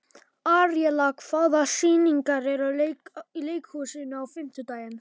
Aríella, hvaða sýningar eru í leikhúsinu á fimmtudaginn?